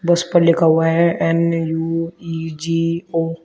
बस पर लिखा हुआ है एन_यू_इ_जी_ओ ।